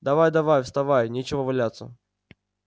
давай-давай вставай нечего валяться